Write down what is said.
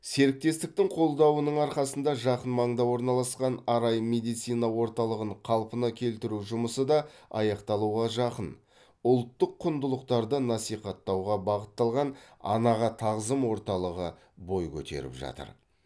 серіктестіктің қолдауының арқасында жақын маңда орналасқан арай медицина орталығын қалпына келтіру жұмысы да аяқталуға жақын ұлттық құндылықтарды насихаттауға бағытталған анаға тағзым орталығы бой көтеріп жатыр